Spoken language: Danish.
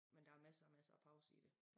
Men der masser masser pause i det